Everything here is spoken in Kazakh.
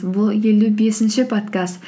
бұл елу бесінші подкаст